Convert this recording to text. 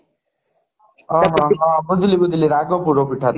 ହଁ ହଁ ହଁ ବୁଝିଲି ବୁଝିଲି ରାଗ ପୋଡପିଠା